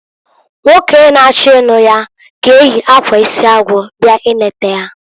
Nwoke na- achọ ịnụ ya g'eyi akwa isi agụ bịa ineta ha.